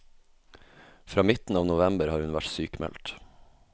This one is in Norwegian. Fra midten av november har hun vært sykmeldt.